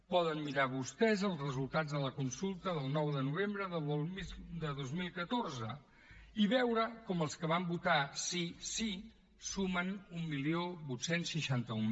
poden mirar vostès els resultats de la consulta del nou de novembre de dos mil catorze i veure com els que van votar sí sí sumen divuit seixanta u